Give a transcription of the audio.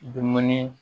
Dumuni